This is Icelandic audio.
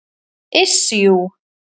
Iss, jú.